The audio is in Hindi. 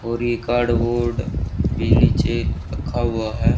और ये कार्डबोर्ड भी नीचे रखा हुआ है।